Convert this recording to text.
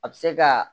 A bɛ se ka